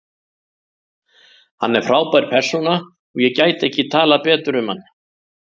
Hann er frábær persóna og ég gæti ekki talað betur um hann.